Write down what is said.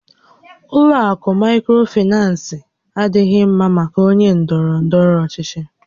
Ụlọ akụ Maịkrofinans adịghị ḿmá maka ónyé ndọrọ ndọrọ ọchịchị